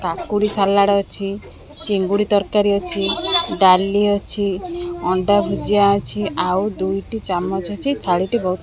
କାକୁଡ଼ି ସାଲାଡ଼ ଅଛି ଚିଙ୍ଗୁଡ଼ି ତରକାରୀ ଅଛି ଡାଲି ଅଛି ଅଣ୍ଡା ଭୂଜିଆ ଅଛି ଆଉ ଦୁଇଟି ଚାମଚ୍ ଅଛି ଥାଳି ଟି ବହୁତ୍।